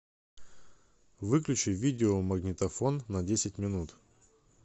выключи видеомагнитофон на десять минут